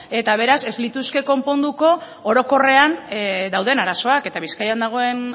eta beraz ez lituzke konponduko orokorrean dauden arazoak eta bizkaian dagoen